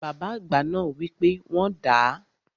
Bàbá àgbà náà wi pe wọ́n dàá.